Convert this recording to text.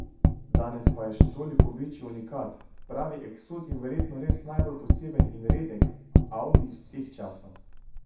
Danes pa je še toliko večji unikat, pravi eksot in verjetno res najbolj poseben in redek audi vseh časov.